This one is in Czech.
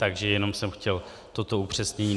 Takže jenom jsem chtěl toto upřesnění.